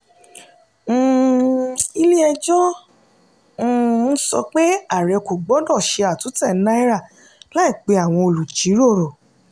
um ilé-ẹjọ́ um sọ pé àárẹ kò gbọdọ̀ ṣe àtúntẹ̀ náírà láì pè àwọn olùjíròrò.